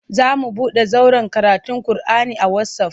Za mu buɗe zauren karatun kur'ani a wasaf.